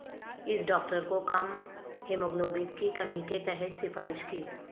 اس doctor کو کم haemoglobin کی کمی کے تحت سفارش کی